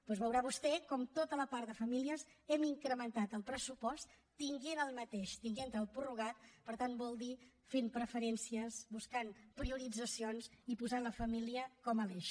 doncs veurà vostè com a tota la part de famílies hem incrementat el pressupost tenint el mateix tenint lo prorrogat per tant vol dir fent preferències buscant prioritzacions i posant la família com a eix